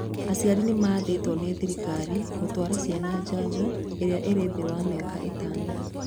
Aciari nĩ maathĩtwo nĩ thirikari gutwara ciana janjo iria ĩrĩ thĩ wa mĩaka ĩtano